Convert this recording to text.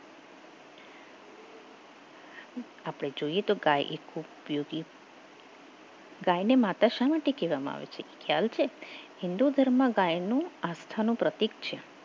આપણે જોઈએ તો ગાય એક ઉપયોગી ગાયને માતા શા માટે કહેવામાં આવે છે ચાલશે હિન્દુ ધર્મ ગાયનું આસ્થા નું પ્રતીક છે